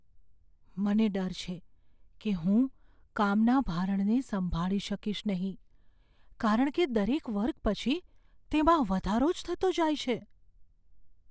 મને ડર છે કે હું કામના ભારણને સંભાળી શકીશ નહીં, કારણ કે દરેક વર્ગ પછી તેમાં વધારો જ થતો જાય છે.